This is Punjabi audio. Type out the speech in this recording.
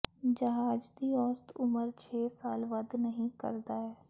ਜਹਾਜ਼ ਦੀ ਔਸਤ ਉਮਰ ਛੇ ਸਾਲ ਵੱਧ ਨਹੀ ਕਰਦਾ ਹੈ